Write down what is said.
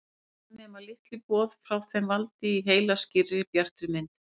Keilurnar nema liti og boð frá þeim valda í heila skýrri, bjartri mynd.